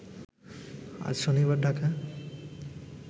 আজ শনিবার ঢাকায়